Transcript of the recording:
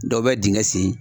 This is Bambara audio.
Dɔw bɛ dingɛ sen.